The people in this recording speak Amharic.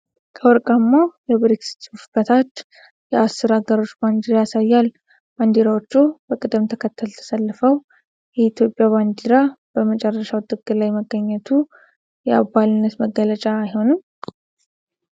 ከወርቃማው የብሪክስ ጽሑፍ በታች የአስር አገሮችን ባንዲራ ያሳያል፤ ባንዲራዎቹ በቅደም ተከተል ተሰልፈው የኢትዮጵያ ባንዲራ በመጨረሻው ጥግ ላይ መገኘቱ የአባልነት መግለጫ አይሆንም?